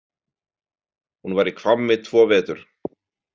Hún var í Hvammi tvo vetur.